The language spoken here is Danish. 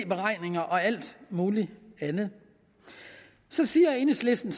beregninger og alt muligt andet så siger enhedslisten